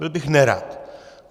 Byl bych nerad.